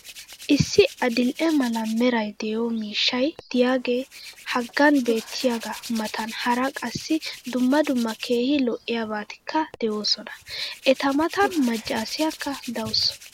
Issi adil'e mala meray de'iyo miishshay diyaagee hagan beettiyaagaa matan hara qassi dumma dumma keehi lo'iyaabatikka de'oosona. Eta matan macaasiyaakka dawusu.